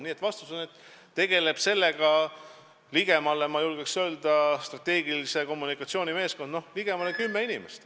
Nii et vastus on, et selle teemaga tegeleb strateegilise kommunikatsiooni meeskond, ma julgen öelda, et ligemale kümme inimest.